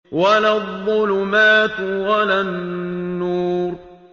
وَلَا الظُّلُمَاتُ وَلَا النُّورُ